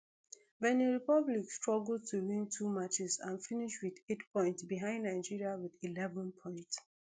benin republic struggle to win two matches and finish wit eight points behind nigeria wit eleven points